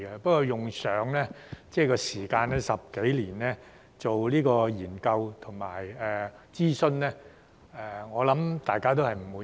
不過，局長，用上10多年時間做研究和諮詢，我想大家也不滿意。